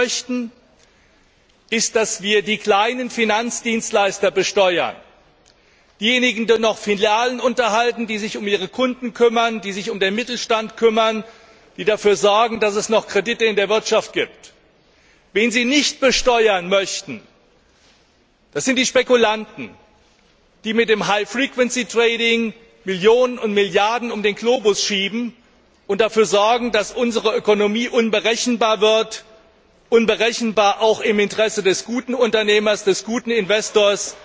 Sie möchten, dass wir die kleinen Finanzdienstleister besteuern, diejenigen, die noch Filialen unterhalten, die sich um ihre Kunden kümmern, sich um den Mittelstand kümmern, die dafür sorgen, dass es noch Kredite in der Wirtschaft gibt. Wen Sie nicht besteuern möchten, das sind die Spekulanten, die mit dem Millionen und Milliarden um den Globus schieben und dafür sorgen, dass unsere Ökonomie unberechenbar wird, unberechenbar auch für den guten Unternehmer, den guten Investor,